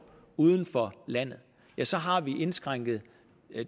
uden for landet ja så har vi indskrænket